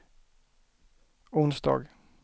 onsdag